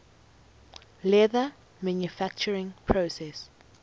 leather manufacturing process